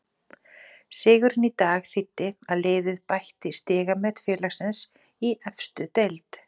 Sigurinn í dag þýddi að liðið bætti stigamet félagsins í efstu deild.